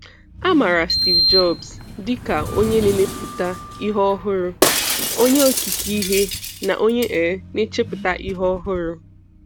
A maara Steve Jobs dị ka onye na-emepụta ihe ọhụrụ, onye okike ihe na onye um na-echepụta ihe ọhụrụ.